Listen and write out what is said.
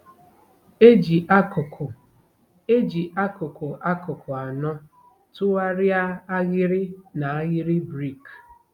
E ji akụkụ E ji akụkụ akụkụ anọ tụgharịa ahịrị n'ahịrị brik.